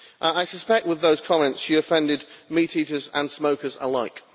I suspect that with those comments she offended meat eaters and smokers alike.